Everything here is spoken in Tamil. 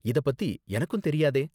இதப் பத்தி எனக்கும் தெரியாதே.